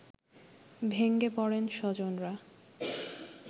ভেঙে পড়েন স্বজনরা